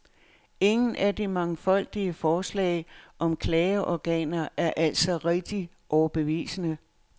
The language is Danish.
Ingen af de mangfoldige forslag om klageorganer er altså rigtig overbevisende.